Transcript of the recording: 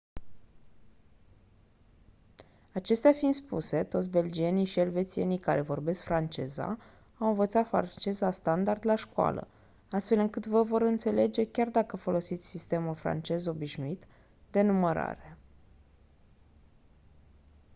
acestea fiind spuse toți belgienii și elvețienii care vorbesc franceza au învățat franceza standard la școală astfel încât vă vor înțelege chiar dacă folosiți sistemul francez obișnuit de numărare